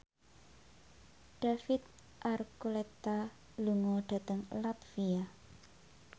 David Archuletta lunga dhateng latvia